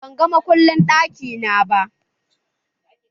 Ban ga makullin ɗaki na ba.